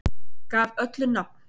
Gaf öllu nafn